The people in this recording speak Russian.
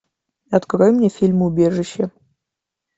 открой мне фильм убежище